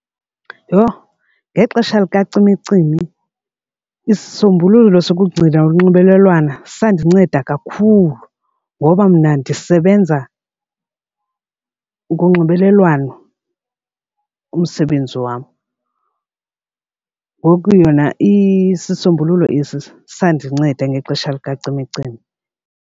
Yho! Ngexesha likacimicimi isisombululo sokugcina unxibelelwana sandinceda kakhulu ngoba mna ndisebenza ngonxibelelwano umsebenzi wam. Ngoku yona isisombululo esi sandinceda ngexesha likacimicimi.